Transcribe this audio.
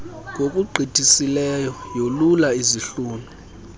ngokugqithisileyo yolula izihlunu